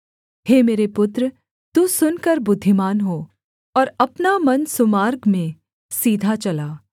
हे मेरे पुत्र तू सुनकर बुद्धिमान हो और अपना मन सुमार्ग में सीधा चला